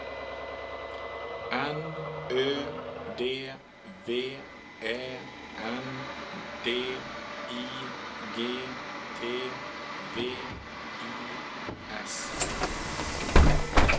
N Ö D V Ä N D I G T V I S